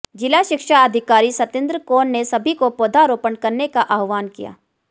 जिला शिक्षा अधिकारी सतेंदर कौर ने सभी को पौधरोपण करने का आह्वान किया